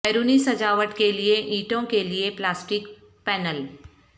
بیرونی سجاوٹ کے لئے اینٹوں کے لئے پلاسٹک پینل